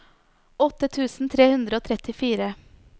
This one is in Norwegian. åtte tusen tre hundre og trettifire